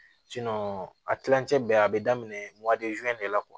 a kilancɛ bɛɛ a be daminɛ de la